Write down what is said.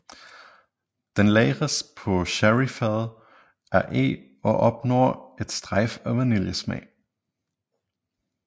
Den lagres på sherryfade af eg og opnår et strejf af vaniljesmag